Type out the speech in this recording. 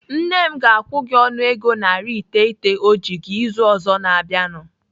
Nne m ga-akwụ gị ọnụego narị iteghete ọ ji gị izu ụka ọzọ na-abịanụ.